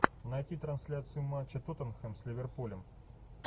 найти трансляцию матча тоттенхэм с ливерпулем